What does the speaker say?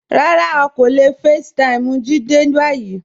Rárá, a kò le fẹ̀ẹ́taímì Jídé bayí.